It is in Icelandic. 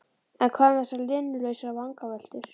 en hvað um þessar linnulausu vangaveltur?